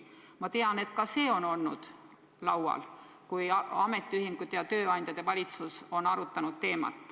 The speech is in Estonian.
Ma tean, et ka see on olnud laual, kui ametiühingud, tööandjad ja valitsus on teemat arutanud.